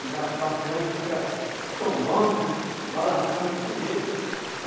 Um barco grande fica tombando, balançando, de todo jeito.